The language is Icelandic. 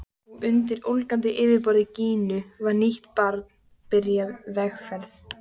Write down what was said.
Og undir ólgandi yfirborði Gínu var nýtt barn byrjað vegferð.